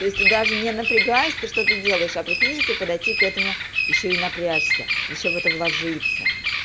то есть ты даже не напрягаясь ты что то делаешь а прикинь если подойти к этому ещё и напрячься ещё в это вложиться